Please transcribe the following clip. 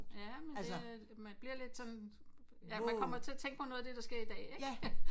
Ja men det øh man bliver lidt sådan man kommer til at tænke på noget af det der sker i dag